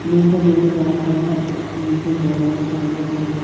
नीचे मेरे को व्हाइट कलर का अह नीचे बोरा दिखाई दे रहा है दो--